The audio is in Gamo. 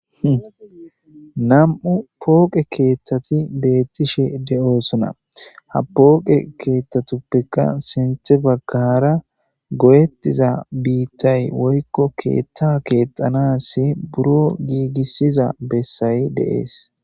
Nam'u pooqe keeththati beettishe de.oosona ha pooqe keeththatuppekka sinthe baggara go.ettiza biittay woykko keethta keexanasi buro giigissiza bessay deees.